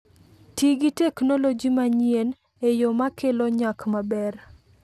Ti gi teknoloji ma nyien e yo makelo nyak maber.